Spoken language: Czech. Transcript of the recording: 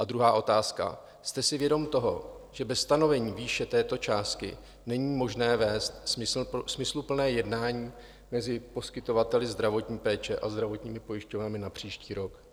A druhá otázka: Jste si vědom toho, že bez stanovení výše této částky není možné vést smysluplné jednání mezi poskytovateli zdravotní péče a zdravotními pojišťovnami na příští rok?